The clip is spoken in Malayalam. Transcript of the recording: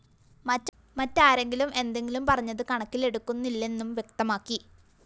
മറ്റാരെങ്കിലും എന്തെങ്കിലും പറഞ്ഞത് കണക്കിലെടുക്കുന്നില്ലെന്നും വ്യക്തമാക്കി